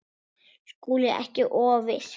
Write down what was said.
SKÚLI: Ekki of viss!